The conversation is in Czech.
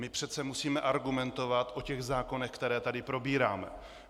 My přece musíme argumentovat o těch zákonech, které tady probíráme.